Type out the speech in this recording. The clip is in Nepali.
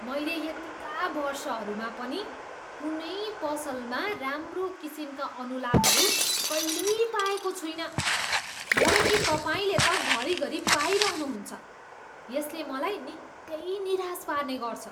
मैले यतिका वर्षहरूमा पनि कुनै पसलमा राम्रो किसिमका अनुलाभहरू कहिल्यै पाएको छुइनँ, जब कि तपाईँले त घरी घरी पाइरहनु हुन्छ, यसले मलाई निकै निराश पार्ने गर्छ।